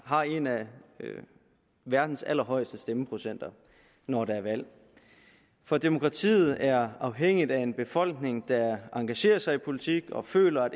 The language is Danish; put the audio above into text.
har en af verdens allerhøjeste stemmeprocenter når der er valg for demokratiet er afhængigt af en befolkning der engagerer sig i politik og føler